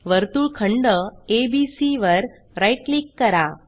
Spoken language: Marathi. वर्तुळखंड एबीसी वर राईट क्लिक करा